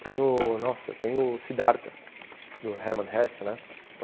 Tem o... nossa, tem o Siddhartha, do Herman Hesse, né?